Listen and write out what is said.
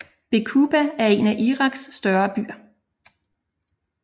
Baquba er en af Iraks større byer